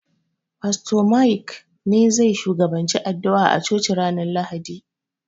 Fasto Maik ne zai shugabanci addu'a a coci ranar Lahadi.